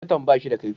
Zarton ba shi da kaifi.